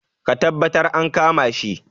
Ka taɓattar an kama shi